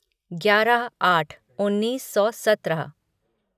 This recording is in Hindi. ग्यारह आट उन्नीस सौ सत्रह